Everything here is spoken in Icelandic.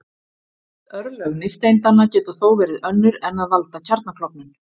Örlög nifteindanna geta þó verið önnur en að valda kjarnaklofnun.